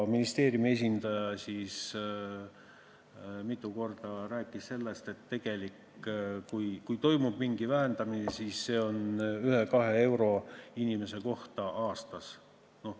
Ministeeriumi esindaja rääkis mitu korda sellest, et kui toimub mingi vähenemine, siis see on 1–2 eurot inimese kohta aastas.